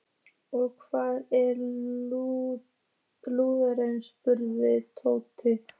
Og hvar er Lúlli? spurði Tóti.